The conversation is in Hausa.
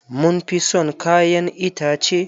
Mun fi son kayan itace.